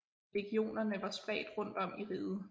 Legionerne var spredt rundt om i riget